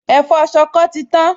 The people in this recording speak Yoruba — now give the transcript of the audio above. Ẹ̀fọ́ ṣọkọ ti tán